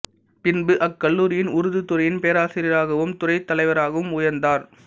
பின்பு அக்கல்லூரியின் உருது துறையின் பேராசிரியாகவும் துறைத் தலைவராகவும் உயர்ந்தார்